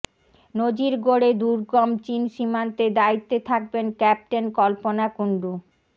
নজির গড়ে দুর্গম চিন সীমান্তে দায়িত্বে থাকবেন ক্যাপ্টেন কল্পনা কুণ্ডু